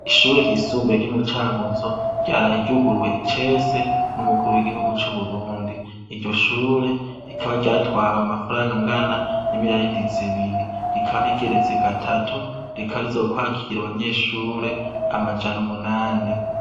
Ishure ry' isumbuye ryo mu Cankuzo ryaraye ryuguruw' icese n'umukuru w'igihugu cu Burundi, iryo shure rikaba ryatway' amafarang' angana n' imiriyaridi zibiri, rikaba rigeretse gatatu rikaba rizokwakir' abanyeshur' amajan' umunani.